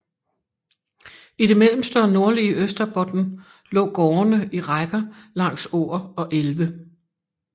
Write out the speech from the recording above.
I det mellemste og nordlige Österbotten lå gårdene i rækker langs åer og elve